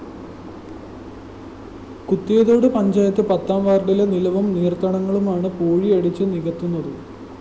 കുത്തിയതോട് പഞ്ചായത്ത് പത്താം വാര്‍ഡിലെ നിലവും നീര്‍ത്തടങ്ങളുമാണ് പൂഴിയടിച്ച് നികത്തുന്നത്